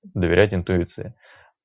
доверять интуиции